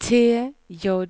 T J